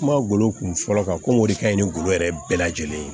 Kuma golo kun fɔlɔ kan ko ŋ'o de kaɲi ngolo yɛrɛ bɛɛ lajɛlen